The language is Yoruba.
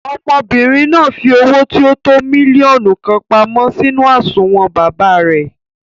Ọmọbìnrin náà fi owó tí o tó mílíọ̀nù kan pamọ́ sínú àsùnwòn baba rẹ̀.